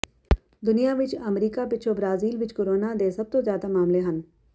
ਦੁਨੀਆ ਵਿਚ ਅਮਰੀਕਾ ਪਿੱਛੋਂ ਬ੍ਰਾਜ਼ੀਲ ਵਿਚ ਕੋਰੋਨਾ ਦੇ ਸਭ ਤੋਂ ਜ਼ਿਆਦਾ ਮਾਮਲੇ ਹਨ